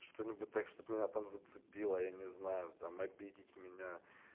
что-нибудь так чтоб меня там зацепило я не знаю там обидеть меня